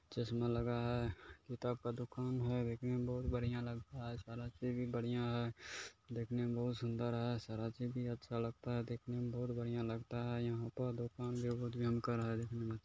--चश्मा लगा है और दुकान है देखने में बहुत बढ़िया लगरा है शर्ट भी बाडिया है देखने मे बहुत सुंदर है सर्त भी अच्छा लगता है देखने मे बहुत बढ़िया लगता है यहां पे दुकान बढ़िया जो हम के रहे है।